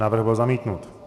Návrh byl zamítnut.